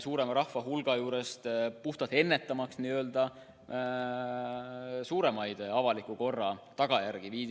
suuremast rahvahulgast – puhtalt ennetamaks suuremat avaliku korra rikkumist.